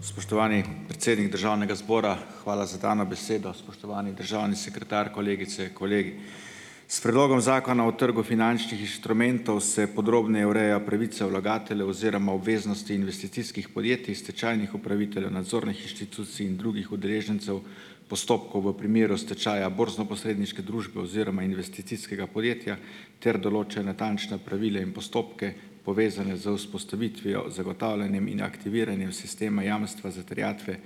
Spoštovani, predsednik Državnega zbora, hvala za dano besedo! Spoštovani državni sekretar, kolegice, kolegi! S predlogom Zakona o trgu finančnih inštrumentov se podrobneje ureja pravica vlagateljev oziroma obveznosti investicijskih podjetij, stečajnih upraviteljev, nadzornih inštitucij in drugih udeležencev postopkov v primeru stečaja borznoposredniške družbe oziroma investicijskega podjetja ter določa natančna pravila in postopke, povezane z vzpostavitvijo, zagotavljanjem in aktiviranjem sistema jamstva za terjatve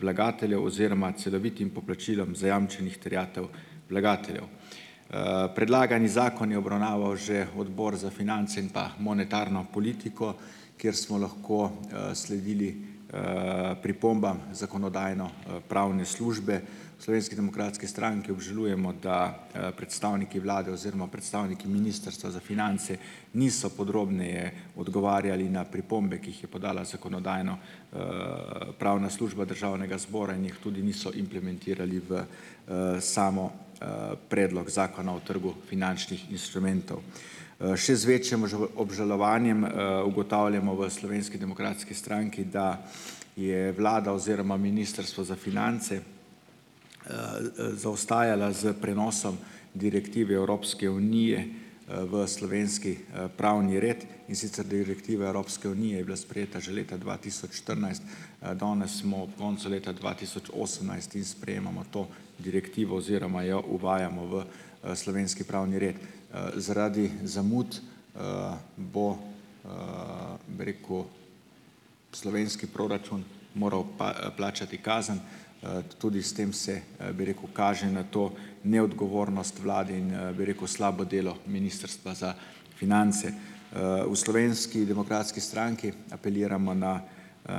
vlagateljev oziroma celovitim poplačilom zajamčenih terjatev vlagateljev. Predlagani zakon je obravnaval že Odbor za finance in pa monetarno politiko, kjer smo lahko sledili pripombam Zakonodajno pravne službe. Slovenski demokratski stranki obžalujemo, da predstavniki Vlade oziroma predstavniki Ministrstva za finance niso podrobneje odgovarjali na pripombe, ki jih je podala Zakonodajno- pravna služba Državnega zbora in jih tudi niso implementirali v samo Predlog Zakona o trgu finančnih inštrumentov. Še z večjem obžalovanjem ugotavljamo v Slovenski demokratski stranki, da je Vlada oziroma Ministrstvo za finance zaostajala s prenosom direktive Evropske unije v slovenski pravni red. In sicer direktiva Evropske unije je bila sprejeta že leta dva tisoč štirinajst danes smo ob koncu leta dva tisoč osemnajst in sprejemamo to direktivo oziroma jo uvajamo v slovenski pravni red. Zaradi zamud bo, bi rekel, slovenski proračun moral pa, plačati kazen, tudi s tem se bi rekel, kaže na to neodgovornost Vlade in, bi rekel, slabo delo Ministrstva za finance. V Slovenski demokratski stranki apeliramo na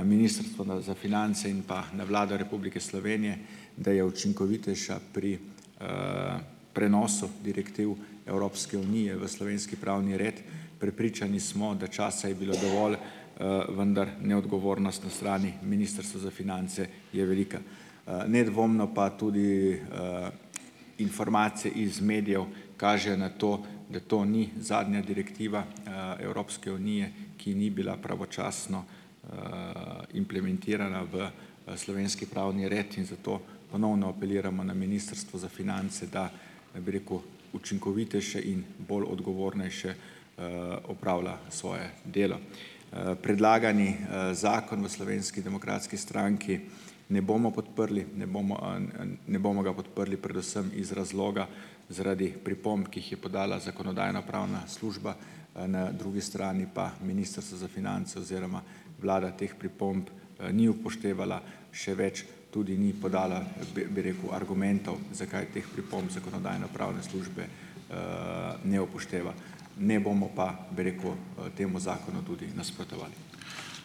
Ministrstvo za finance in pa na Vlado Republike Slovenije, da je učinkovitejša pri prenosu direktiv Evropske unije v slovenski pravni red. Prepričani smo, da časa je bilo dovolj, vendar neodgovornost na strani Ministrstva za finance je velika. Nedvomno pa tudi informacije iz medijev kažejo na to, da to ni zadnja direktiva Evropske unije, ki ni bila pravočasno implementirana v slovenski pravni red, in zato ponovno apeliramo na Ministrstvo za finance, da, bi rekel, učinkovitejše in bolj odgovornejše opravlja svoje delo. Predlagani zakon v Slovenski demokratski stranki ne bomo podprli. Ne bomo ne bomo ga podprli predvsem iz razloga, zaradi pripomb, ki jih je podala Zakonodajno-pravna služba, na drugi strani pa Ministrstvo za finance oziroma Vlada teh pripomb ni upoštevala, še več, tudi ni podala, bi, bi rekel, argumentov, zakaj teh pripomb Zakonodajno-pravne službe ne upošteva. Ne bomo pa, bi rekel, temu zakonu tudi nasprotovali.